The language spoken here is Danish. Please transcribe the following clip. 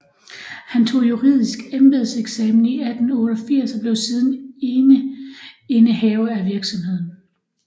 Han tog juridsk embedseksamen i 1888 og blev siden eneindehaver af virksomheden